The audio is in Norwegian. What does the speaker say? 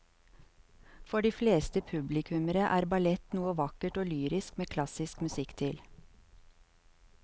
For de fleste publikummere er ballett noe vakkert og lyrisk med klassisk musikk til.